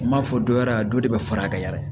N m'a fɔ dɔ wɛrɛ la dɔ de bɛ fara a ka yala